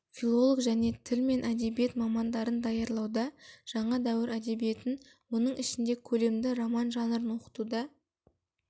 филолог және тіл мен әдебиет мамандарын даярлауда жаңа дәуір әдебиетін оның ішінде көлемді роман жанрын оқытуда